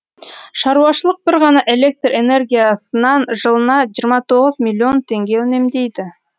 шаруашылық бір ғана электр энергиясынан жылына жиырма тоғыз миллион теңге үнемдейді